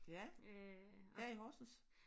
Ja her i Horsens